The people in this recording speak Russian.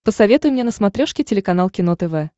посоветуй мне на смотрешке телеканал кино тв